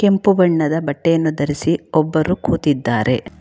ಕೆಂಪು ಬಣ್ಣದ ಬಟ್ಟೆಯನ್ನು ಧರಿಸಿ ಒಬ್ಬರು ಕೂತಿದ್ದಾರೆ.